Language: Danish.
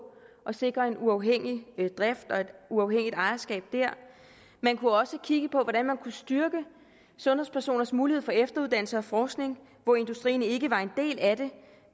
at sikre en uafhængig drift og et uafhængigt ejerskab man kunne også kigge på hvordan man kunne styrke sundhedspersoners mulighed for efteruddannelse og forskning hvor industrien ikke var en del af det